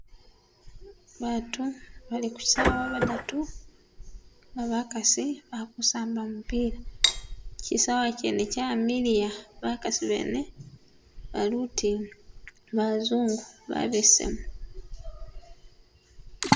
Bantu bali kukyisawa badatu, bakasi balikusamba mupila kyisawa kyene kyamiliya bakasi bene baluti bazungu babesemu